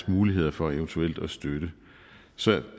muligheden for eventuelt at give støtte så